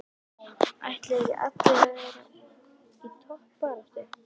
Ætla ekki allir að vera í toppbaráttu?